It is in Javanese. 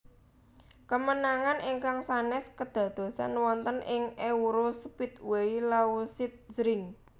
Kemenangan ingkang sanès kadadosan wonten ing EuroSpeedway Lausitzring